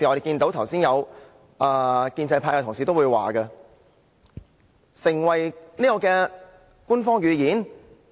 剛才有建制派的同事也說，讓手語成為官方語言？